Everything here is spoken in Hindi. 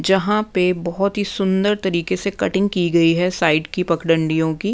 जहाँ पे बहुत ही सुंदर तरीके से कटिंग की गई हैं साइड की पखडंडियों की--